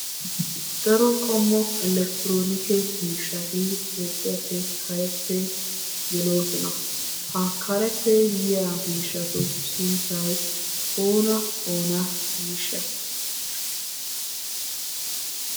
Daro qommo elekktronikke miishshati Toophpheeppe kareppe geloosona. Ha kareppe yiya miishshatu sunttay oona oona giisha?